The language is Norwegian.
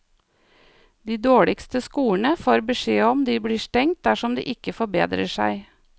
De dårligste skolene får beskjed om de blir stengt dersom de ikke forbedrer seg.